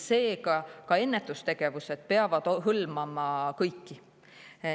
Seega ka ennetustegevused peavad hõlmama kõiki.